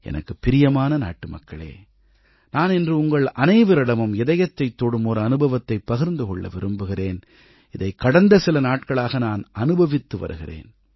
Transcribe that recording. எனக்குப் பிரியமான நாட்டுமக்களே நான் இன்று உங்கள் அனைவரிடமும் இதயத்தைத் தொடும் ஒரு அனுபவத்தைப் பகிர்ந்து கொள்ள விரும்புகிறேன் இதை கடந்த சில நாட்களாக நான் அனுபவித்து வருகிறேன்